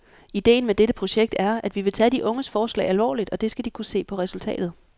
Idéen med dette projekt er, at vi vil tage de unges forslag alvorligt, og det skal de kunne se på resultatet.